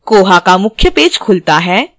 koha का मुख्य page खुलता है